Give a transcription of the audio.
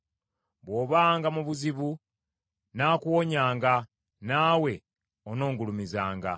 Bw’obanga mu buzibu, nnaakuwonyanga, naawe onongulumizanga.”